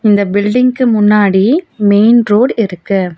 இந்த பில்டிங்க்கு முன்னாடி மெயின் ரோடு இருக்கு.